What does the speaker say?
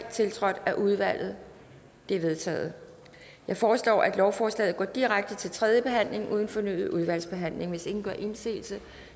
tiltrådt af udvalget det er vedtaget jeg foreslår at lovforslaget går direkte til tredje behandling uden fornyet udvalgsbehandling hvis ingen gør indsigelse